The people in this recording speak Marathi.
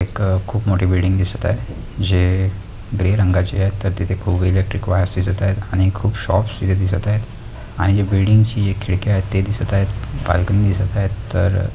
एक खूप मोठी बिल्डिंग दिसत आहे जे ग्रे रंगाची आहे तर तिथे खूप इलेक्ट्रिक वायरस दिसत आहेत आणि खूप शोप्स तिथे दिसत आहेत आणि हे बिल्डिंग ची हे खिडक्या आहेत ते दिसत आहेत बाल्कनी दिसत आहेत तर --